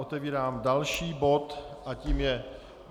Otevírám další bod a tím je